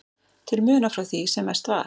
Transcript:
til muna frá því sem mest var.